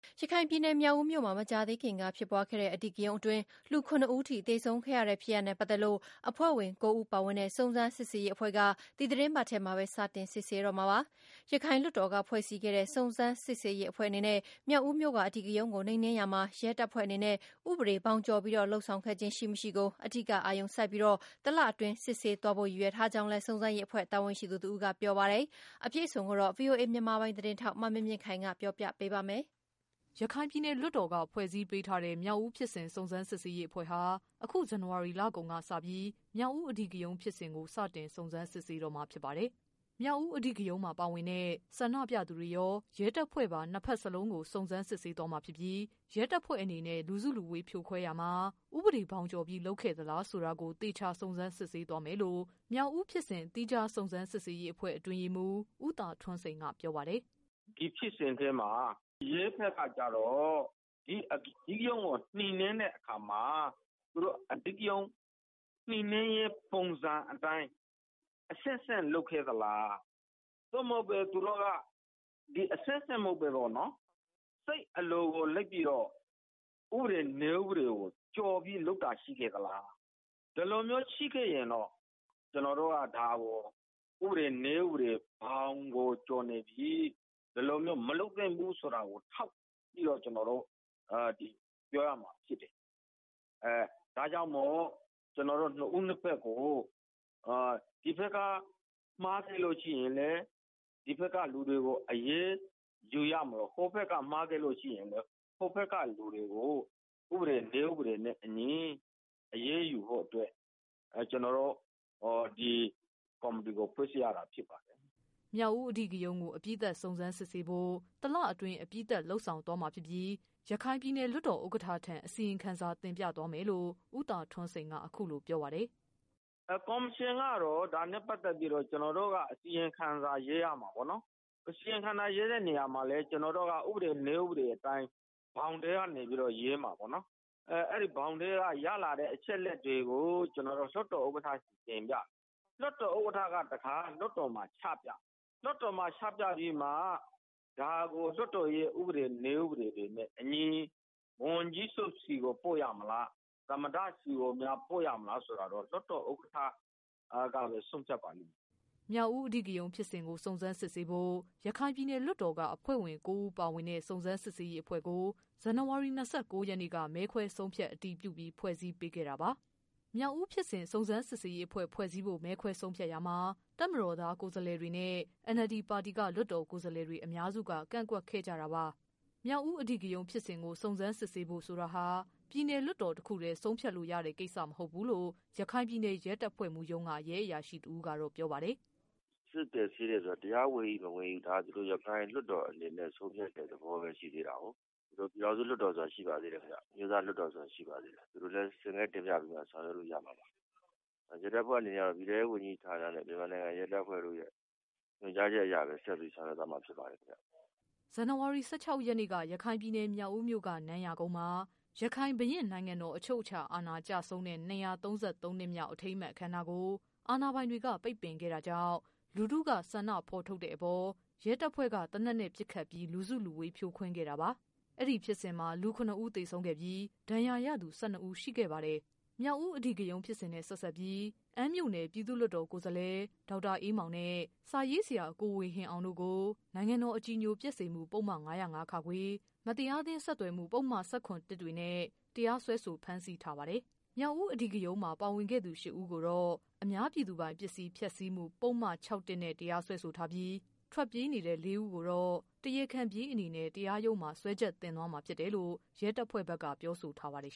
ရခိုင်ပြည်နယ် မြောက်ဦးမြို့မှာ မကြာသေးခင်က ဖြစ်ပွားခဲ့တဲ့ အဓိကရုဏ်းအတွင်း လူ ၇ ဦးအထိ သေဆုံးခဲ့ရတဲ့ ဖြစ်ရပ်နဲ့ ပတ်သက်လို့ အဖွဲ့ဝင် ၉ ဦးပါဝင်တဲ့ စုံစမ်းစစ်ရေးအဖွဲ့က ဒီသီတင်းပတ်ထဲမှာပဲ စတင်စစ်ဆေးတော့မှာ ဖြစ်ပါတယ်။ ရခိုင်လွှတ်တော်က ဖွဲ့စည်းခဲ့တဲ့ စုံစမ်းရေး အဖွဲ့အနေနဲ့ မြောက်ဦးမြို့က အဓိကရုဏ်းကို နှိမ်နင်းရာမှာ ရဲတပ်ဖွဲ့အနေနဲ့ ဥပဒေ ဘောင်ကျော်ပြီး လုပ်ဆောင်ခဲ့ခြင်း ရှိ၊ မရှိကို အဓိက အာရုံစိုက်ပြီး၊ တလအတွင်း စစ်ဆေးသွားဖို့ ရည်ရွယ်ထားကြောင်းလည်း စုံစမ်းရေးအဖွဲ့ တာဝန်ရှိသူတဦးက ပြောပါတယ်။ အပြည့်အစုံကိုတော့ ဗွီအိုအေ မြန်မာပိုင်း သတင်းထောက် မမြင့်မြင့်ခိုင်က ပြောပြပေးပါမယ်။ ရခိုင်ပြည်နယ် လွှတ်တော်က ဖွဲ့စည်းပေးထားတဲ့ မြောက်ဦးဖြစ်စဉ် စုံစမ်းစစ်ဆေးရေးအဖွဲ့ဟာ အခု ဇန်နဝါရီ လကုန်က စပြီး မြောက်ဦး အဓိကရုဏ်းဖြစ်စဉ်ကို စတင် စုံစမ်းတော့မှာဖြစ်ပါတယ်။ မြောက်ဦး အဓိကရုဏ်းမှာပါဝင်တဲ့ ဆန္ဒပြသူတွေရော၊ ရဲတပ်ဖွဲ့ပါ နှစ်ဖက်စလုံးကို စုံစမ်းစစ်ဆေး သွားမှာဖြစ်ပြီး ရဲတပ်ဖွဲ့ အနေနဲ့ လူစုလူဝေးဖြိုခွဲရာမှာ ဥပဒေ ဘောင်ကျော်ပြီး လုပ်ခဲ့သလားဆိုတာကို သေချာ စုံစမ်းစစ်ဆေးသွားမယ်လို့ မြောက်ဦးဖြစ်စဉ် သီးခြားစုံစမ်းစစ်ဆေးရေးအဖွဲ့ အတွင်းရေးမှူး ဦး သာထွန်းစိန်က ပြောပါတယ်။ “ ဒီဖြစ်စဉ်ထဲမှာ ရဲဘက်ကကျတော့ ဒီအဓိကရုဏ်းကို နိမ်နင်းတဲ့အခါမှာ အဓိကရုဏ်းနိမ်နင်းရေး ပုံစံအတိုင်း အဆင့်ဆင့်လုပ်ခဲ့သလား ။ သို့မဟုတ်သူတို့က အဆင့်ဆင့် မဟုတ်ပဲ စိတ်အလိုကို လိုက်ပြီးတော့ ဥပဒေကို ကျော်ပြီးတော့ လုပ်ခဲ့တာရှိခဲ့သလား။ ဒီလိုမျိုး ရှိခဲ့ရင်တော့ ကျနော်တို့က ဒါကို နည်းဥပဒေ ဘောင်ကို ကျော်နေပြီး ဒီလိုမျိုး မလုပ်သင့်ဘူးဆိုတာကို ကျနော်တို့ ထောက်ပြီးတော့ ပြောရမှာဖြစ်တယ်။ ဒါကြောင့်မို့လို့ ကျနော်တို့ ၂ ဦး၂ ဖက်ကို ဒီဘက်က မှားခဲ့လို့ရှိရင် ဒီဘက်က လူတွေကို အရေးယူရမလို ၊ ဟိုဘက်က မှားခဲ့လို့ရှိရင် ဟိုဘက်က လူတွေကို နည်းဥပဒေ နဲ့အညီ အရေးယူဖို့ ကျနော်တို့ ဒီကော်မတီကို ဖွဲ့စည်းရတာဖြစ်ပါတယ်။” မြောက်ဦး အဓိကရုဏ်းကို အပြီးသတ် စုံစမ်းစစ်ဆေးဖို့ တလအတွင်း အပြီးသတ် လုပ်ဆောင်သွားမှာ ဖြစ်ပြီး ရခိုင်ပြည်နယ် လွှတ်တော် ဥက္ကဌထံ အစီရင်ခံစာ တင်ပြသွားမယ်လို့ ဦးသာထွန်းစိန်က အခုလို ပြောပါတယ်။ “ ကော်မရှင်ကတော့ ဒါနဲ့ ပတ်သက်ပြီး ကျနော်တို့က အစီရင်ခံစာ ရေးရမှာပေါ့နော်။ အစီရင်ခံစာရေးတဲ့ နေရာမှာလည်း ကျနော်တို့က နည်းဥပဒေအတိုင်း ဘောင်ထဲကနေပြီးတော့ ရေးမှာပေါ့နော်။ အဲဒီဘောင်ထဲက ရလာတဲ့ အချက်အလက်တွေကို ကျနော်တို့က လွှတ်တော်ဥက္ကဋ္ဌ ဆီကို တင်ပြမယ်။ လွှတ်တော်ဥက္ကဋ္ဌ ကတခါ လွှတ်တော်မှာ ချပြမယ်။ လွှတ်တော်မှာ ချပြပြီးမှ လွှတ်တော်ရဲ့ ဥပဒေ နည်းဥပဒေတွေနဲ့အညီ ဝန်ကြီးချုပ်ဆီကို ပို့ရမလား ၊ သမ္မတ ဆီကို ပို့ရမလားဆိုတာကတော့ လွှတ်တော်ဥက္ကဋ္ဌကပဲ ဆုံးဖြတ်ပါလိမ့်မယ်။” မြောက်ဦး အဓိကရုဏ်းဖြစ်စဉ်ကို စုံစမ်းစစ်ဆေးဖို့ ရခိုင်ပြည်နယ်လွှတ်တော်က အဖွဲ့ဝင် ၉ ဦးပါဝင်တဲ့ စုံစမ်းစစ်ဆေးရေးအဖွဲ့ကို ဇန်နဝါရီ ၂၉ရက်နေ့က မဲခွဲဆုံးဖြတ် အတည်ပြုပြီး ဖွဲ့စည်းပေးခဲ့တာပါ။ မြောက် ဦးဖြစ်စဉ် စုံစမ်းစစ်ဆေးရေးအဖွဲ့ ဖွဲ့စည်းဖို့ မဲခွဲဆုံးဖြတ်ရာမှာ တပ်မတော်သား ကိုယ်စားလှယ်တွေနဲ့ NLD ပါတီက လွှတ်တော်ကိုယ်စားလှယ်တွေ အများစုက ကန့်ကွက်ခဲ့ကြတာပါ။ မြောက်ဦး ဖြစ်စဉ်ကို စုံစမ်းစစ်ဆေးဖို့ဆိုတာဟာ ပြည်နယ်လွှတ်တော် တခုတည်းနဲ့ ဆုံးဖြတ်လို့ရတဲ့ ကိစ္စမဟုတ်ဘူးလို့ ရခိုက်ပြည်နယ် ရဲတပ်ဖွဲ့မှူးရုံးက ရဲအရာအရှိတဦးက ပြောပါတယ်။ “ စစ်ဆေးတယ်ဆိုတာက တရားဝင်၏ မဝင်၏ဆိုတာက သူတို့က ရခိုင်ပြည်လွှတ်တော်အနေနဲ့ ဆုံးဖြတ်တဲ့ သဘောပဲ ရှိသေးတာကို ၊ ပြည်ထောင်စုလွှတ်တော်ဆိုတာ ရှိပါသေးတယ်ခင်ဗျ ။ အမျိုးသားလွှတ်တော်ဆိုတာ ရှိပါသေးတယ်ခင်ဗျ သူတို့လည်း ဆင့်ကဲတင်ပြပြီးတော့ ဆောင်ရွက်လို့ရမှာပါ။ ရဲတပ်ဖွဲ့အနေနဲ့ ကလည်း ပြည်ထဲရေးဝန်ကြီးဌာနနဲ့ မြန်မာနိုင်ငံ ရဲတပ်ဖွဲ့တို့ရဲ့ ညွှန်ကြားချက်အရပဲ ဆက်ပြီးဆောင်ရွက်သွားမှာပါ။” ဇန်နဝါရီ ၁၆ရက်နေ့က ရခိုင်ပြည်နယ် မြောက်ဦးမြို့က နန်းရာကုန်းမှာ ရခိုင် ဘုရင့်နိုင်ငံတော် အချုပ် အခြာအာဏာ ကျဆုံးတဲ့ ၂၃၃ နှစ်မြောက် အထိမ်းအမှတ် အခမ်းအနားကို အာဏာပိုင်တွေက ပိတ်ပင်ခဲ့ တာကြောင့် လူထုက ဆန္ဒဖော်ထုတ်တဲ့အပေါ် ရဲတပ်ဖွဲက သေနတ်နဲ့ ပစ်ခတ်ပြီး လူစုလူဝေး ဖြိုခွင်းခဲ့ တာပါ။ အဲ့ဒီဖြစ်စဉ်မှာ လူ ၇ဦးသေဆုံးခဲ့ပြီး ဒဏ်ရာရသူ ၁၂ဦးရှိခဲ့ပါတယ်။ မြောက်ဦး အဓိကရုဏ်းနဲ့ ဆက်စပ်ပြီး အမ်းမြို့နယ် ပြည်သူ့လွှတ်တော် ကိုယ်စားလှယ် ဒေါက်တာအေး မောင်နဲ့ စာရေးဆရာ ကိုဝေဟင်အောင်တို့ကို နိုင်ငံတော် အကြည်ညိုပျက်စေမှု ပုဒ်မ ၅၀၅ ခ၊ မတရား သင်း ဆက်သွယ်မှု ပုဒ်မတွေနဲ့ တရားစွဲဆို ဖမ်းဆီးထားပါတယ်။ မြောက်ဦး အဓိကရုဏ်းမှာ ပါဝင်သူ ၈ဦးကိုတော့ အများပြည်သူပိုင် ပစ္စည်း ဖျက်ဆီးမှု ပုဒ်မ ၆ နဲ့ တရားစွဲဆိုထားပြီး ထွက်ပြေးနေတဲ့ ၄ဦး ကိုတော့ တရားခံပြေးအနေနဲ့ တရားရုံးမှာ စွဲချက်တင်သွားမှာဖြစ်တယ်လို့ ရဲတပ်ဖွဲ့ဘက်က ပြောဆိုထား ပါတယ်